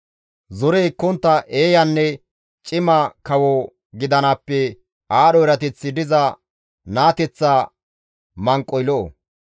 Zore ekkontta eeyanne cima kawo gidanaappe aadho erateththi diza naateththa manqoy lo7o.